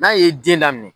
N'a ye den daminɛ